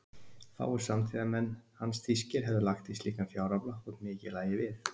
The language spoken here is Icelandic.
Fáir samtíðarmenn hans þýskir hefðu lagt í slíkan fjárafla, þótt mikið lægi við.